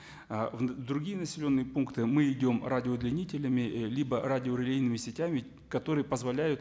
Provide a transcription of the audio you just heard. ы в другие населенные пункты мы идем радиоудленнителями ы либо радиорелейными сетями которые позволяют